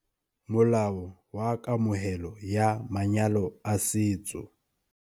Molao wa Kamohelo ya Manyalo a Setso.